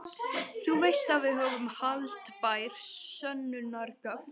Þú veist að við höfum haldbær sönnunargögn.